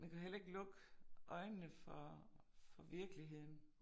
Man kan jo heller ikke lukke øjnene for for virkeligheden